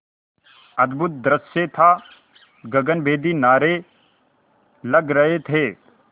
अद्भुत दृश्य था गगनभेदी नारे लग रहे थे